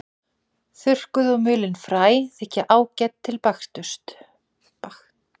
Þurrkuð og mulin fræ þykja ágæt til baksturs.